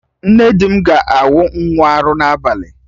Nne di m ga-awụ nwa arụ n'abalị